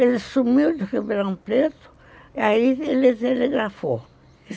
Ele sumiu de Ribeirão Preto, e aí ele se telegrafou.